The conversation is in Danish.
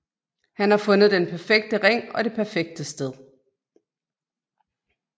Han har fundet den perfekte ring og det perfekte sted